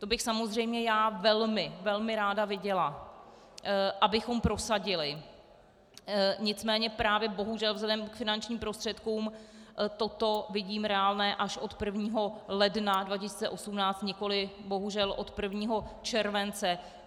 To bych samozřejmě já velmi, velmi ráda viděla, abychom prosadili, nicméně právě bohužel vzhledem k finančním prostředkům toto vidím reálné až od 1. ledna 2018, nikoliv bohužel od 1. července.